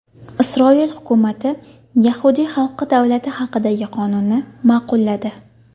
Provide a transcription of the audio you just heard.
Isroil hukumati yahudiy xalqi davlati haqidagi qonunni ma’qulladi.